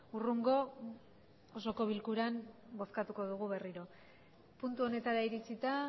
hurrengo osoko bilkuran bozkatuko dugu berriro puntu honetara iritsita